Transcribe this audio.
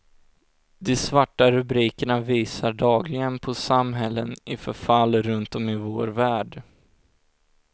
De svarta rubrikerna visar dagligen på samhällen i förfall runtom i vår värld.